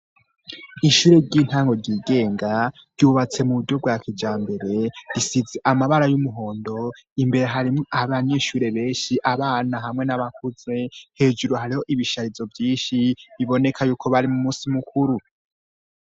Ishure ry'intango ryigenga ryubatse mu buryo rwa kija mbere risize amabara y'umuhondo imbere harimwo abanyishure benshi abana hamwe n'abakuze hejuru hariho ibisharizo vyinshi biboneka yuko bari mu musi mukuru.